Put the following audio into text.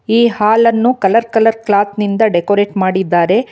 ಈ ಹಾಲನ್ನು colour colour cloth ನಿಂದ ಡೆಕೋರೇಟ್ ಮಾಡಿದ್ದಾರೆ.